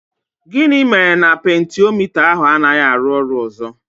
Gịnị mere na pentiomita ahụ anaghị arụ ọrụ ọzọ?